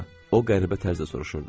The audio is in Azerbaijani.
O qəribə tərzdə soruşurdu.